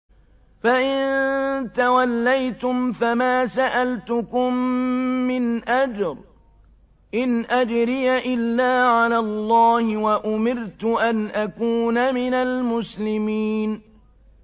فَإِن تَوَلَّيْتُمْ فَمَا سَأَلْتُكُم مِّنْ أَجْرٍ ۖ إِنْ أَجْرِيَ إِلَّا عَلَى اللَّهِ ۖ وَأُمِرْتُ أَنْ أَكُونَ مِنَ الْمُسْلِمِينَ